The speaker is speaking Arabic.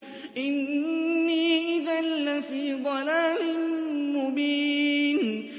إِنِّي إِذًا لَّفِي ضَلَالٍ مُّبِينٍ